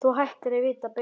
Þú ættir að vita betur!